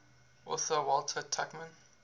author walter tuchman